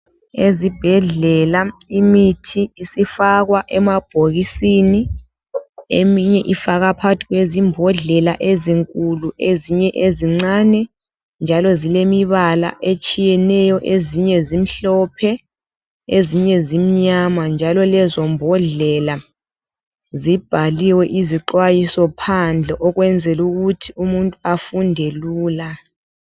Ezibhedlela imithi isifakwa emabhokisini, eminye ifakwa phàkathi kwezimbhodlela ezinkulu, ezinye ezincane njalo zilemibala etshiyeneyo. Ezinye zimhlophe ezinye zimnyama, njalo lezo mbhodlela zibhaliwe izixwayiso phandle ukwenzela ukuthi umuntu efunde lula.